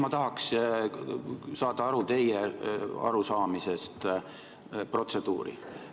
Ma tahaksin saada aru teie arusaamisest protseduurist.